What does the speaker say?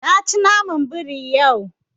Na ci naman biri yau.